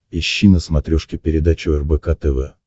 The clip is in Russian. ищи на смотрешке передачу рбк тв